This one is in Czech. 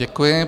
Děkuji.